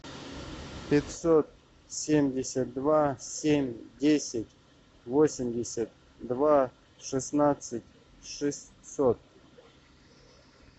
пятьсот семьдесят два семь десять восемьдесят два шестнадцать шестьсот